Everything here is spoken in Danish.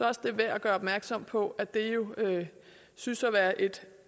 også det er værd at gøre opmærksom på at det jo synes at være et